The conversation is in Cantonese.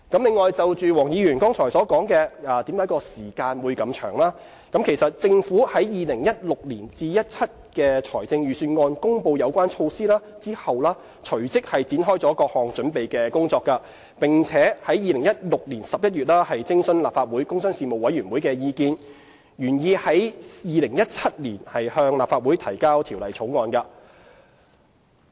另外，就黃議員剛才所提出，落實措施的時間為何會如此長，政府在 2016-2017 年度財政預算案公布有關措施後，隨即展開各項準備工作，並在2016年11月徵詢立法會工商事務委員會的意見，原擬在2017年向立法會提交條例草案。